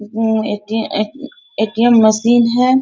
म्म्म at a ATM. Machine है।